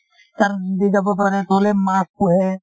মাছ পোহে